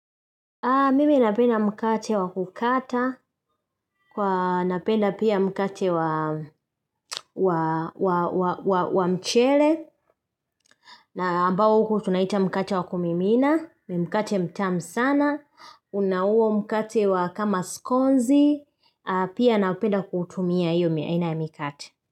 Mimi napenda mkate wa kukata, kwa napenda pia mkate wa mchele, na ambao huku tunaita mkate wa kumimina, mi mkate mtamu sana, unauo mkate wa kama skonzi, pia napenda kuutumia iyo mi aina ya mkate.